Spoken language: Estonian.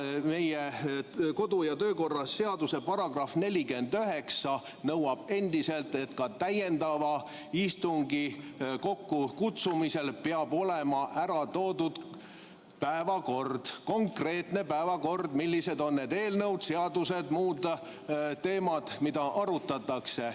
Meie kodu- ja töökorra seaduse § 49 nõuab endiselt, et ka täiendava istungi kokkukutsumisel peab olema ära toodud konkreetne päevakord, kus on kirjas, millised on need eelnõud, seadused ja muud teemad, mida arutatakse.